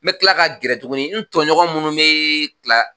N bɛ kila ka gɛrɛ tuguni n toɲɔgɔn minnu bɛ kila